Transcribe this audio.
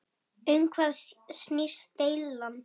Um hvað snýst deilan?